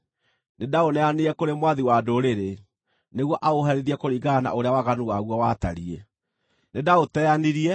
nĩndaũneanire kũrĩ mwathi wa ndũrĩrĩ, nĩguo aũherithie kũringana na ũrĩa waganu waguo watariĩ. Nĩndaũteanirie,